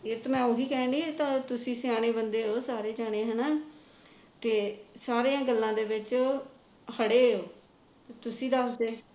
ਇਹ ਤਾਂ ਮੈ ਉਹੀ ਕਹਿੰਦੀ ਐ ਤੁਸੀ ਸਿਆਣੇ ਬੰਦੇ ਹੋ ਸਾਰੇ ਜਾਣੇ ਹੈਣਾ ਤੇ ਸਾਰੀਆ ਗੱਲਾ ਦੇ ਵਿਚੋ ਖੜੇ ਹੋ ਤੁਸੀ ਦੱਸਦੇ